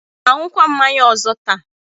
I ga-aṅụkwa mmanya ọzọ taa?